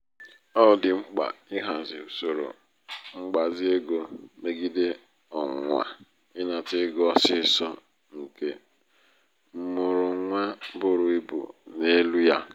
ọ dị mkpa ịhazi usoro mgbazi ego megide ọnwụnwa ịnata ego ọsịsọ nke mmụrụnwa buru ibu n'elu ya.